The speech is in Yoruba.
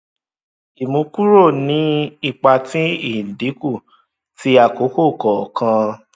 ìmúkúrò ní ipa ti ìdínkù ti àkókò kọọkan